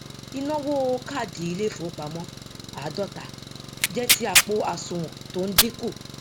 inawo káàdì ilé ìfowópamó ààdóta jé ti àpò asùwòn tó n dínku